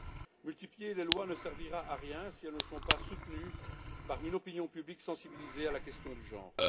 La multiplication des lois ne servira à rien si elles ne sont pas soutenues par une opinion publique sensibilisée à la question du genre.